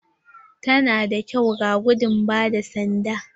Ta na da kyau a gudun ba da sanda.